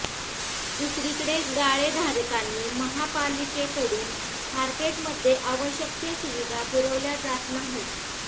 दुसरीकडे गाळेधारकांनी महापालिकेकडून मार्केटमध्ये आवश्यक सुविधा पुरविल्या जात नाहीत